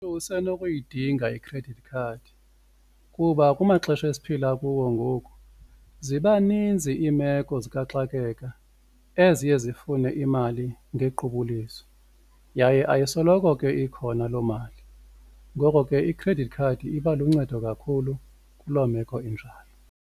Usenokuyidinga i-credit card kuba kumaxesha esiphila kuwo ngoku ziba ninzi iimeko zikaxakeka eziye zifune imali ngequbuliso yaye ayisoloko ke ikhona loo mali, ngoko ke i-credit card iba luncedo kakhulu kuloo meko injalo.